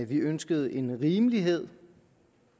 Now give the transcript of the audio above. vi ønskede en rimelighed